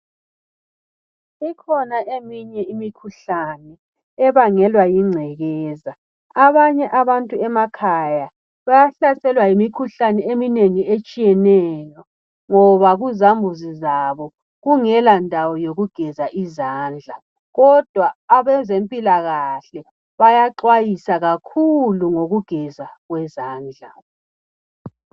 Kukhona eminye imikhuhlane ebangelwa yingcekeza. Abanye abantu emakhaya bayahlaselwa yimikhuhlane eminengi etshiyeneyo ngoba kuzambuzi zabo kungelandawo yokugeza izandla, kodwa abezempilakahle bayaxwayisa kakhulu ngokugezwa kwezandla.